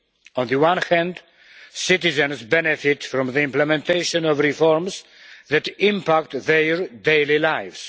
On the one hand, citizens benefit from the implementation of reforms that impact their daily lives.